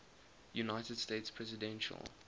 united states presidential